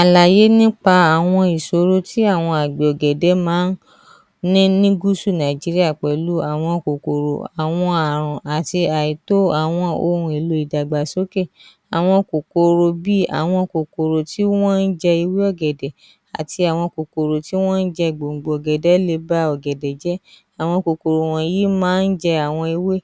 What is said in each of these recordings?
Àlàyé nípa àwọn ìṣòro tí àwọn àgbẹ̀ ọ̀gẹ̀dẹ̀ máa ní ní Gúsù Nàìjíríà pẹ̀lú àwọn kòkòrò àwọn Ààrùn àti àìtó àwọn ohun èlò ìdàgbàsókè, àwọn kòkòrò bíi, àwọn kòkòrò tí wọ́n ń jẹ ewé ọ̀gẹ̀dẹ̀ àti àwọn kòkòrò tí wọ́n ń jẹ gbòǹgbò ọ̀gẹ̀dẹ̀ le ba ọ̀gẹ̀dẹ̀ jẹ́ àwọn kòkòrò yìí máa ń jẹ àwọn ewé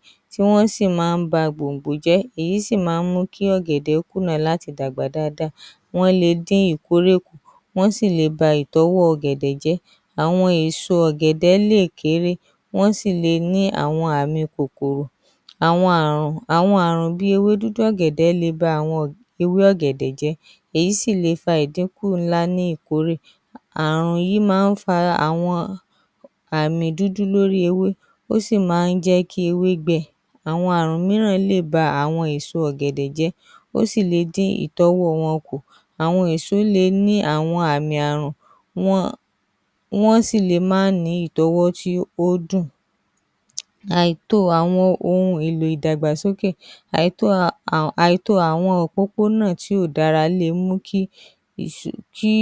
wọ́n sì máa ń ba gbòǹgbò jẹ́ èyí sì máa ń mú kí ọ̀gẹ̀dẹ̀ kùnà láti dàgbà dáadáa wọ́n wọ́n le dín ìkórè kù wọ́n sì tún le ba itọ́wọ̀ ọ̀gẹ̀dẹ̀ jẹ́, àwọn èso ọ̀gẹ̀dẹ̀ lè kééré wọ́n sì le awon àmì kòkòrò àwọn Ààrùn bíi ewé dúdú ọ̀gẹ̀dẹ̀ le ba àwọn ewé ọ̀gẹ̀dẹ̀ jẹ́, èyí sì le fa àwọn ìdínkù ńlá ní ìkórè Ààrùn yìí máa ń fa àwọn àmì dúdú lórí ewé ó sì máa ń jẹ́ kí ewé gbẹ, àwọn Ààrùn mìíràn lè ba èso ọ̀gẹ̀dẹ̀ jẹ́, ó sì le dín àwọn itọ́wọ̀ wọn kù, àwọn èso le ní àwọn àmì Ààrùn, wọ́n sì le má ní ìtọ́wọ́ tó dùn, àìtó àwọn ohun èlò ìdàgbàsókè, àìtó àwọn òpópónà tí kò dára le mú kí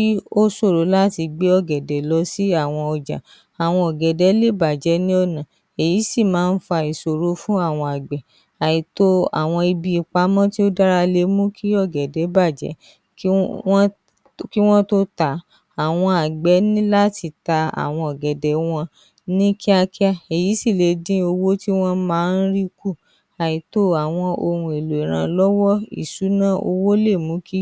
ó ṣòro láti gbé ọ̀gẹ̀dẹ̀ lọ sí ọjà, àwọn ọ̀gẹ̀dẹ̀ lè bàjẹ́ ní ọ̀nà èyí sì máa ń fa ìṣòro fún àwọn àgbẹ̀ àìtó àwọn ibi ìpamọ́ tó dára le mú kí ọ̀gẹ̀dẹ̀ bàjẹ́ kí Wọ́n tó tà á, àwọn àgbẹ̀ ní láti ta àwọn ọ̀gẹ̀dẹ̀ wọn ní kíákíá èyí sì lè dín owó tí wọ́n máa ń rí kù, àwọn ohun èlò ìrànlọ́wọ́, ìsúná owó lè mú kí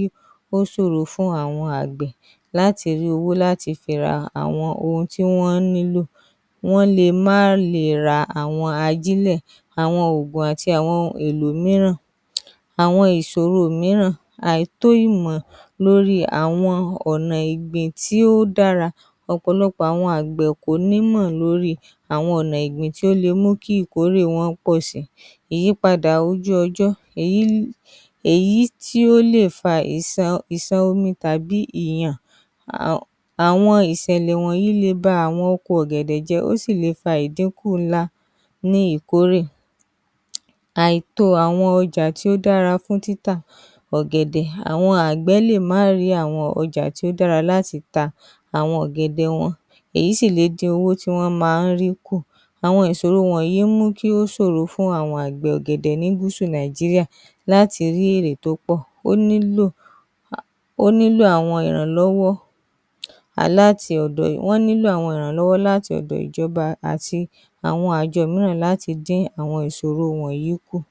ó ṣòro fún àwọn àgbẹ̀ láti rí owó láti fi ra àwọn ohun tí wọ́n nílò, wọ́n lè má le ra àwọn ajílẹ̀, àwọn òògùn àti àwọn ohun èlò mìíràn, àwọn ìṣòro mìíràn, àìtó ìmọ̀ lórí àwọn ọ̀nà ègbè tí ó dára ọ̀pọ̀lọpọ̀ àwọn àgbẹ̀ kò onímọ̀ lórí àwọn ọ̀nà tí ó lè mú kí ìkórè wọn pọ̀ sí i, ìyípadà ojú ọjọ́ èyí tó lè fa ìṣàn omi tàbí ìyàn, àwọn ìṣẹ̀lẹ̀ wọ̀nyí lè ba àwọn oko ọ̀gẹ̀dẹ̀ jẹ́, ó sì le fa ìdínkù ńlá ní ìkórè. Àìtó àwọn ọ̀gẹ̀dẹ̀ tó dára fún títà ọ̀gẹ̀dẹ̀ àwọn àgbẹ̀ lè má rí àwọn ọjà tó dára láti ta àwọn ọ̀gẹ̀dẹ̀ wọn, èyí sì le dín àwọn owó tí wọ́n máa ń rí kù, àwọn ìṣòro wọ̀nyí ń mú kí ó ṣòro fún àwọn àgbẹ̀ ọ̀gẹ̀dẹ̀ ní gúúsù Nàìjíríà láti rí èrè tó pọ̀, ó nílò àwọn olùrànlọ́wọ́ láti ọ̀dọ̀ ìjọba àti àwọn àjọ mìíràn láti dín àwọn ìṣòro wọ̀nyí kù. ‎